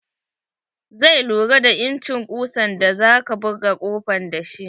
Zai lura da incin kusan da zaka buga kofan da shi.